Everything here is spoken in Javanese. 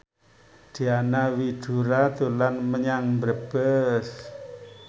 Diana Widoera dolan menyang Brebes